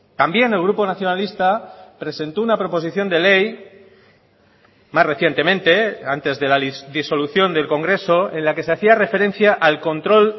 también el grupo nacionalista presentó una proposición de ley más recientemente antes de la disolución del congreso en la que se hacía referencia al control